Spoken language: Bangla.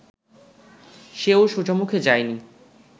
সেও সোজামুখে যায়নি